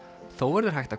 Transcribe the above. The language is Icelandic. þó verður hægt að